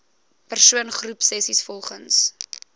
persoon groepsessies volgens